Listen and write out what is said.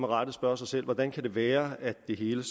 rette spørge sig selv hvordan kan det være at det hele